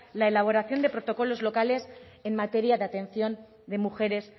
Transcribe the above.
la elaboración de protocolos locales en materia de atención de mujeres